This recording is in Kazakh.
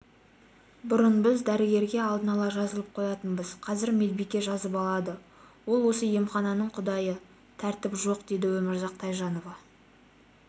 бұрын біз дәрігерге алдын ала жазылып қоятынбыз қазір медбике жазып алады ол осы емхананың құдайы тәртіп жоқ деді өмірзақ тайжанова